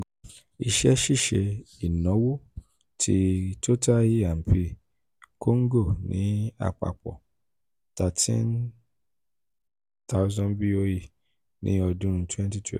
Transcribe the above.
iṣẹ́-ṣiṣe ìnáwó ti total e and p congo ni apapọ thirteen thousand boe ni ọdun twenty